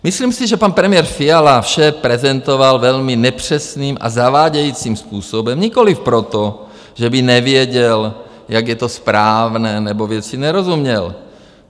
Myslím si, že pan premiér Fiala vše prezentoval velmi nepřesným a zavádějícím způsobem - nikoliv proto, že by nevěděl, jak je to správné, nebo věci nerozuměl.